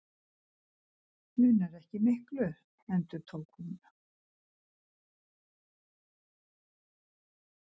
Munar ekki miklu., endurtók hún.